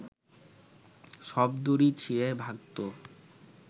সব দড়ি ছিঁড়ে ভাগত